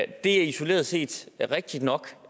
det er isoleret set rigtigt nok